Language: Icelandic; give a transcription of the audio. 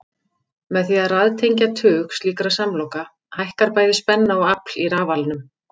Með því að raðtengja tug slíkra samloka hækkar bæði spenna og afl í rafalanum.